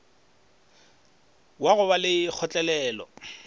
wa go ba le kgotlelelo